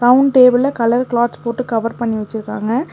Round டேபிள்ல colour clothes போட்டு cover பண்ணி வெச்சுருக்காங்க.